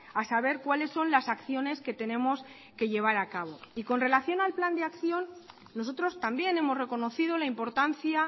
a saber cuáles son las acciones que tenemos que llevar a cabo y con relación al plan de acción nosotros también hemos reconocido la importancia